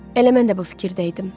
Elə mən də bu fikirdəydim.